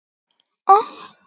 Það var því dálítið glatað.